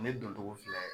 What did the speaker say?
Ne doncogo filɛ ye